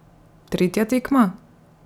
Tretja tekma?